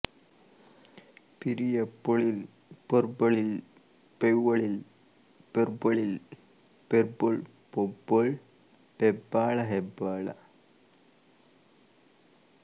ಪಿರಿಯ ಪೊೞಲ್ ಪೆರ್ಬೊೞಲ್ ಪೆರ್ವ್ವೊೞಲ್ ಪೆರ್ಬ್ಬೊೞಲ್ ಪೆರ್ಬ್ಬೊಳ್ ಪೆಬ್ಬೊಳ್ ಪೆಬ್ಬಾಳ ಹೆಬ್ಬಾಳ